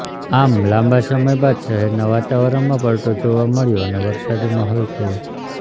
આમ લાંબા સમય બાદ શહેરના વાતાવરણમાં પલટો જોવા મળ્યો અને વરસાદી માહોલ થયો